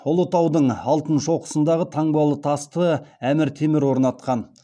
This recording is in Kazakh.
ұлытаудың алтын шоқысындағы таңбалы тасты әмір темір орнатқан